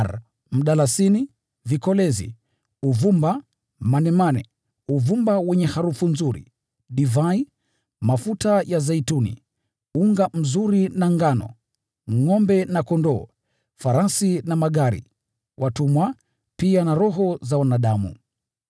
bidhaa za mdalasini, vikolezi, za uvumba, manemane, na uvumba wenye harufu nzuri, za divai, na mafuta ya zeituni, za unga mzuri na ngano; ngʼombe na kondoo; farasi na magari; na miili na roho za wanadamu.